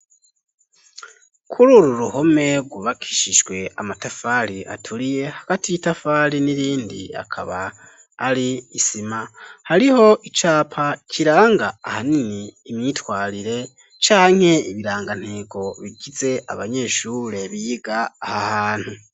Kururu ruhome rwubakishijwe amatafari aturiye hagati y'itafari n'irindi akaba ari isima hariho icapa kiranga ahanini imyitwarire canke ibirangantego bigize abanyeshure biga aha hantu